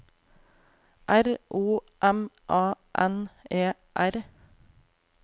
R O M A N E R